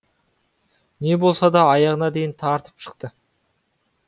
не болса да аяғына дейін тартып шықты